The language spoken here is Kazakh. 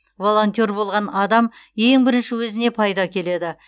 волонтер болған адам ең бірінші өзіне пайда әкеледі